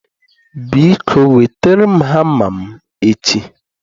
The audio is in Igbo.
Biko wetere m hama m echi.